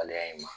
Waleya in ma